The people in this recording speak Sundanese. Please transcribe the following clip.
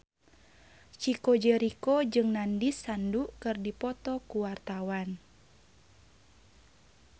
Chico Jericho jeung Nandish Sandhu keur dipoto ku wartawan